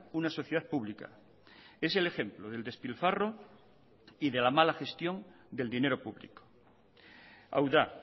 una sociedad pública es el ejemplo del despilfarro y de la mala gestión del dinero público hau da